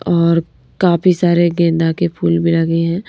और काफी सारे गेंदा के फूल भी लगे हैं।